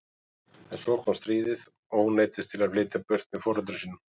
En svo kom stríðið og hún neyddist til að flytja burt með foreldrum sínum.